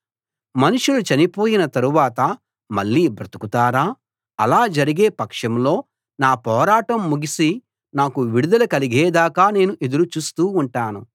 మనుషులు చనిపోయిన తరువాత మళ్ళీ బ్రతుకుతారా ఆలా జరిగే పక్షంలో నా పోరాటం ముగిసి నాకు విడుదల కలిగేదాకా నేను ఎదురుచూస్తూ ఉంటాను